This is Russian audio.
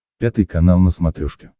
пятый канал на смотрешке